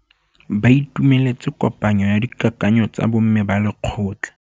Ba itumeletse kôpanyo ya dikakanyô tsa bo mme ba lekgotla.